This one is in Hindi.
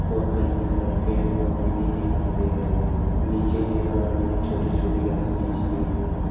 और कहीं सारे पेड़ पौधे भी दिखाई दे रहे हैं नीचे मैदान में छोटी छोटी घांस बिछ रही है।